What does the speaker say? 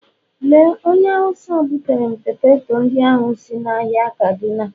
Lee onye Awụsa butere m poteto ndị ahụ si ahịa kaduna